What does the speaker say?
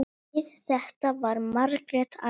Við þetta varð Margrét æf.